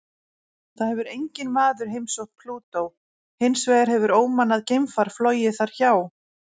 Það hefur enginn maður heimsótt Plútó, hins vegar hefur ómannað geimfar flogið þar hjá.